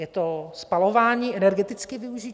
Je to spalování, energetické využití?